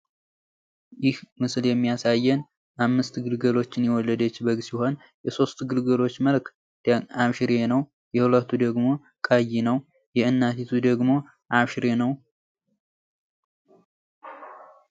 ይህ ምስል የሚያሳየን አምስት ግልገሎችን የወለደችን በግ ሲሆን የሶስቶቹ ግልገል ቀለማቸው አሽሬ ሲሆን የሁለቱ ቀይ እንዲሁም የእናቲቱም ቀይ ነው።